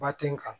Ba ten nga